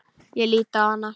Ég lít á hana.